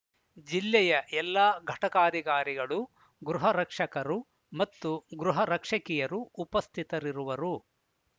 ಜಿಲ್ಲೆಯ ಎಲ್ಲಾ ಘಟಕಾಧಿಕಾರಿಗಳು ಗೃಹರಕ್ಷಕರು ಮತ್ತು ಗೃಹರಕ್ಷಕಿಯರು ಉಪಸ್ಥಿತರಿರುವರು